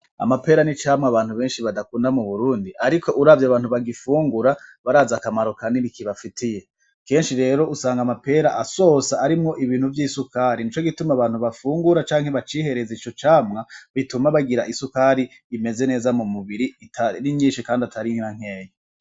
Amapera n'icamwa abantu beshi badakunda mu Burundi ariko uravye abantu bagifungura barazi akamaro kanini kibafitiye, keshi rero usanga amapera asosa arimwo ibintu vy'isukari nico gituma abantu bafungura canke bacihereza ico camwa bituma bagira isukari imeze neza mu mubiri itari nyishi kandi itari n'ankeya.